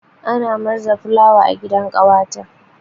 Ana murza fulawa a gidan ƙawata.